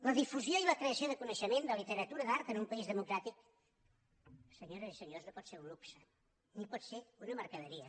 la difusió i la creació de coneixement de literatura d’art per a un país democràtic senyores i senyors no pot ser un luxe ni pot ser una mercaderia